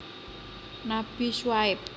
Nabi Syuaib